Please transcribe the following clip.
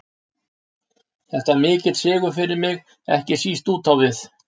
Þetta var mikill sigur fyrir mig, ekki síst út á við.